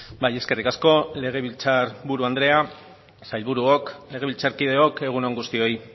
bai eskerrik asko legebiltzar buru andrea sailburuok legebiltzarkideok egun on guztioi